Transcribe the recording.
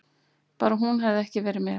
Bara hún hefði ekki verið með.